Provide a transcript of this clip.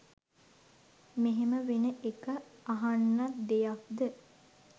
මෙහෙම වෙන එක අහන්නත් දෙයක්ද?